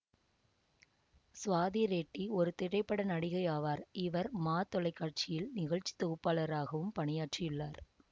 சுவாதி ரெட்டி ஒரு திரைப்பட நடிகை ஆவார் இவர் மா தொலைக்காட்சியில் நிகழ்ச்சி தொகுப்பாளராகவும் பணியாற்றியுள்ளார்